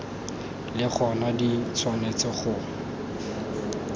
le gona di tshwanetse go